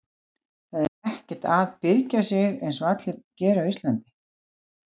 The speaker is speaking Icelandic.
Það er ekkert að byrgja sig einsog allir gera á Íslandi.